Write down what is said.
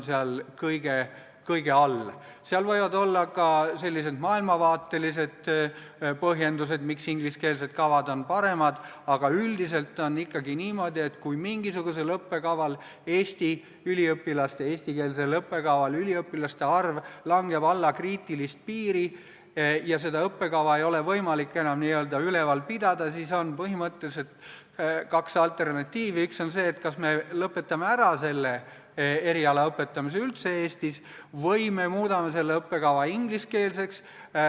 Seal võib olla ka maailmavaatelisi põhjendusi, miks ingliskeelsed kavad on paremad, aga üldiselt on ikkagi niimoodi, et kui mingisugusel eestikeelsel õppekaval kahaneb Eesti üliõpilaste arv allapoole kriitilist piiri ja seda õppekava ei ole võimalik enam ülal pidada, siis on põhimõtteliselt kaks alternatiivi: kas me lõpetame selle eriala õpetamise Eestis üldse ära või muudame õppekava ingliskeelseks.